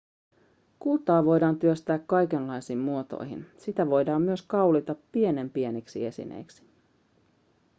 kultaa voidaan työstää kaikenlaisiin muotoihin sitä voidaan myös kaulita pienenpieniksi esineiksi